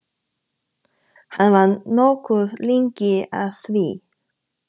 Hann var nokkuð lengi að því.